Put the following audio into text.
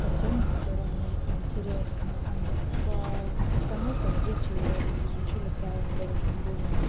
по теме которые мне интересно а не по тому как дети изучили правила дорожного движения